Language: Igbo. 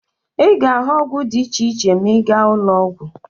Ị ga-ahụ ọgwụ dị iche iche ma ị gaa n'ụlọọgwụ